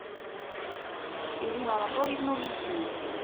ирину анатольевну лисину